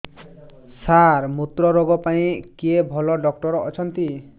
ସାର ମୁତ୍ରରୋଗ ପାଇଁ କିଏ ଭଲ ଡକ୍ଟର ଅଛନ୍ତି